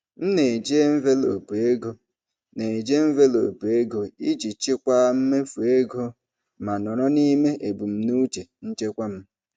M na-eji envelopu ego na-eji envelopu ego iji chịkwaa mmefu ego ma nọrọ n'ime ebumnuche nchekwa m.